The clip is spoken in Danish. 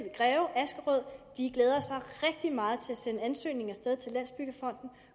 i greve askerød glæder sig rigtig meget til at sende ansøgningen af sted til landsbyggefonden